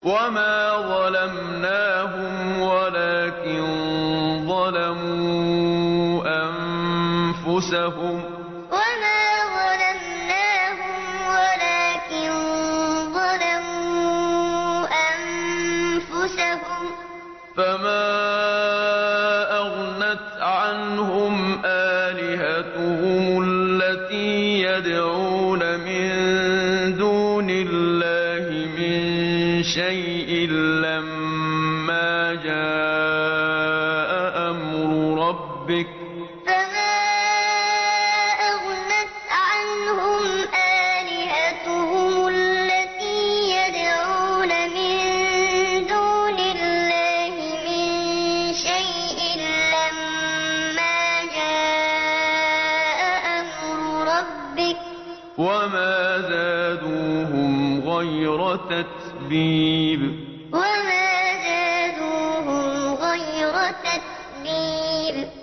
وَمَا ظَلَمْنَاهُمْ وَلَٰكِن ظَلَمُوا أَنفُسَهُمْ ۖ فَمَا أَغْنَتْ عَنْهُمْ آلِهَتُهُمُ الَّتِي يَدْعُونَ مِن دُونِ اللَّهِ مِن شَيْءٍ لَّمَّا جَاءَ أَمْرُ رَبِّكَ ۖ وَمَا زَادُوهُمْ غَيْرَ تَتْبِيبٍ وَمَا ظَلَمْنَاهُمْ وَلَٰكِن ظَلَمُوا أَنفُسَهُمْ ۖ فَمَا أَغْنَتْ عَنْهُمْ آلِهَتُهُمُ الَّتِي يَدْعُونَ مِن دُونِ اللَّهِ مِن شَيْءٍ لَّمَّا جَاءَ أَمْرُ رَبِّكَ ۖ وَمَا زَادُوهُمْ غَيْرَ تَتْبِيبٍ